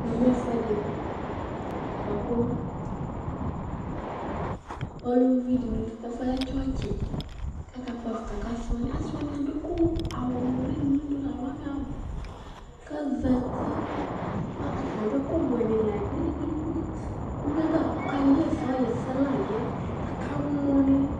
Ɛfʋ ɛdɩ bʋakʋ ɔlɛ tsɔtsɩ Aluvinɩ akakpɔ avita Asɩ wani adʋ awʋnʋlɩ nʋlɩ ɔbʋ, kʋ azǝtɩ Atani adʋ ɛkʋwɛnɩ la gbidi gbidi Uvidɩ kaɣa ɛsɛ kʋ alʋ onewa kamɔ